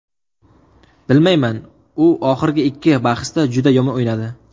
Bilmayman, u oxirgi ikki bahsda juda yomon o‘ynadi.